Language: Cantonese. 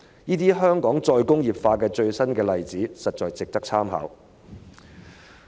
這些香港再工業化的最新例子，實在值得參考。